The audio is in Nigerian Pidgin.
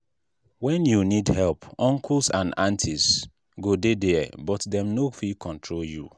when you need help uncles and aunties go dey there but dem no fit control you.